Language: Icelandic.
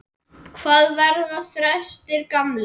Hvað verða þrestir gamlir?